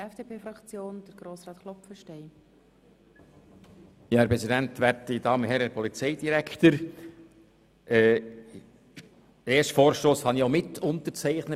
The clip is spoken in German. Den ersten Vorstoss habe ich ja mit Herrn Rudin zusammen mitunterzeichnet.